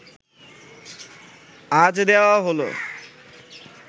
আজ দেওয়া হলো